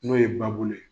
N'o ye babulu ye